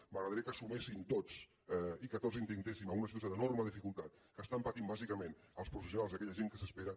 m’agradaria que s’hi sumessin tots i que tots intentéssim en una situació d’enorme dificultat que estan patint bàsicament els professionals i aquella gent que s’espera